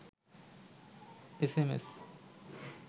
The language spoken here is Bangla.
S M S